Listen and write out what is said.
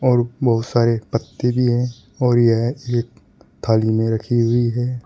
और बहुत सारे पत्ते भी हैं और यह एक थाली में रखी हुई है।